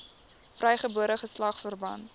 vrygebore geslag verpand